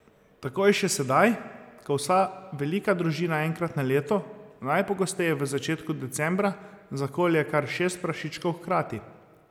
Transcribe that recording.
Tako je še sedaj, ko vsa velika družina enkrat na leto, najpogosteje v začetku decembra, zakolje kar šest prašičkov hkrati.